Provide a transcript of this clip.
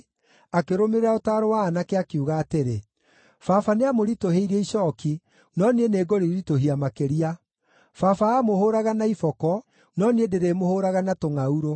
akĩrũmĩrĩra ũtaaro wa aanake, akiuga atĩrĩ, “Baba nĩamũritũhĩirie icooki, no niĩ nĩngũrĩritũhia makĩria. Baba aamũhũũraga na iboko, no niĩ ndĩrĩmũhũũraga na tũngʼaurũ.”